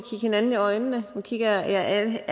hinanden i øjnene nu kigger jeg jer alle